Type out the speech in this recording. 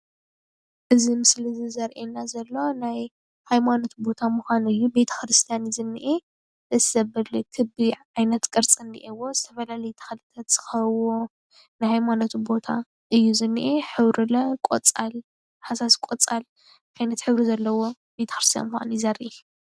እዚ ምስሊ ዘርእየና ዘሎ ናይ ሃይማኖት ቦታ ምካኑ እዩ። ቤተ-ክርስትያን እዩ ዝንሄ እዚ ክቢ ዓይነት ቅርፂ እኒሄዎ ፡፡ዝተፈላለዩ ተክልታት ዝከበብዎ ናይ ሃይማኖት ቦታ እዩ ዝንአ ሕብሪ ሃሳስ ቆፃል ዓይነት ሕብሪ ዘለዎ ቤተ-ክርስትያን ምኻኑ እዩ ዘርኢ፡፡